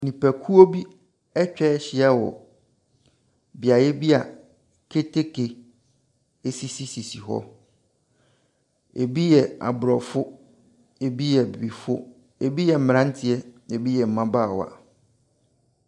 Nipakuo bi atwa ahyia wɔ beaeɛ bi a keteke sisi sisi hɔ. Ɛbi yɛ Aborɔfo, ɛbi yɛ Abibifoɔ. Ɛbi yɛ mmeranteɛ, ɛbi yɛ mmabaawa.